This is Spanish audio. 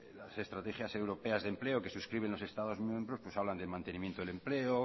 las estrategias europeas de empleo que suscriben los estados miembros hablan de mantenimiento del empleo